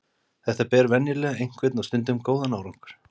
Þetta ber venjulega einhvern og stundum góðan árangur.